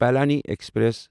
Palani express